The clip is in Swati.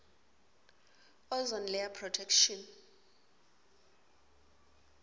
ozone layer protection